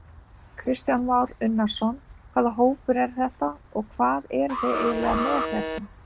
Kristján Már Unnarsson: Hvaða hópur er þetta og hvað eruð þið eiginlega með hérna?